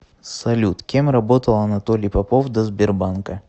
салют кем работал анатолий попов до сбербанка